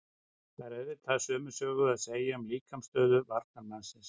Þá er auðvitað sömu sögu að segja um líkamsstöðu varnarmannsins.